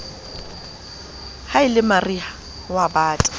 ha e le mariha ho